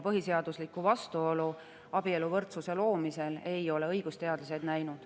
Põhiseaduslikku vastuolu abieluvõrdsuse loomisel ei ole õigusteadlased näinud.